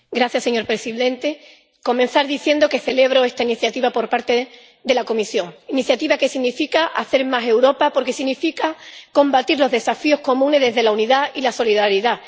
Señor presidente, quiero comenzar diciendo que celebro esta iniciativa por parte de la Comisión, una iniciativa que significa hacer más Europa porque significa combatir los desafíos comunes desde la unidad y la solidaridad.